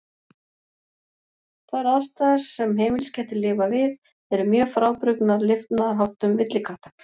Þær aðstæður sem heimiliskettir lifa við eru mjög frábrugðnar lifnaðarháttum villikatta.